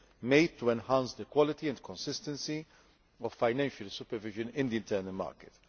made to enhancing the quality and consistency of financial supervision in the internal market.